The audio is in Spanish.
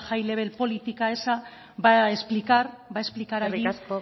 high level política esa va a explicar allí cuál es